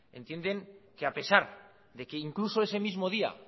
entienden que a pesar de que incluso ese mismo día